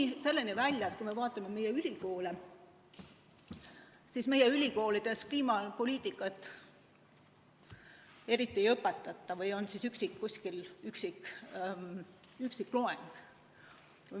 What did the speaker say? Kuni selleni välja, et kui me vaatame meie ülikoole, siis meie ülikoolides kliimapoliitikat eriti ei õpetata või on kuskil üksik loeng.